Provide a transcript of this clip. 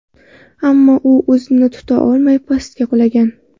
Ammo u o‘zini tuta olmay, pastga qulagan.